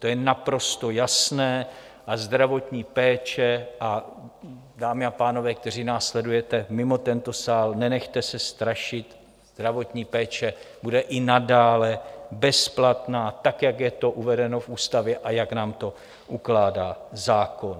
To je naprosto jasné a zdravotní péče - a, dámy a pánové, kteří nás sledujete mimo tento sál, nenechte se strašit - zdravotní péče bude i nadále bezplatná, tak jak je to uvedeno v ústavě a jak nám to ukládá zákon.